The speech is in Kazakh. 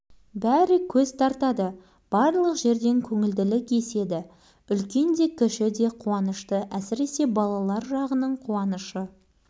өздері үлкендер құсап бірін-бірі көп тосырқап жатқан жоқ демнің арасында танысып бірігіп ойнап кетті